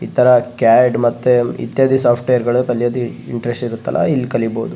ಈ ತರ ಕ್ಯಾಡ್ ಮತ್ತೆ ಇತ್ಯಾದಿ ಸಾಫ್ಟ್ವೇರ್ ಗಳು ಕಲಿಯೋದು ಇಂಟ್ರೆಸ್ಟ್ ಇರುತ್ತಲ್ಲ ಇಲ್ಲಿ ಕಲಿಬಹುದು .